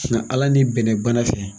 Suna ala ni bɛnɛ bana fɛ.